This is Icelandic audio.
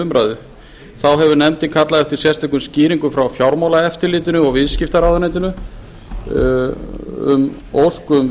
umræðu þá hefur nefndin kallað eftir sérstökum skýringum frá fjármálaeftirlitinu og viðskiptaráðuneytinu á ósk um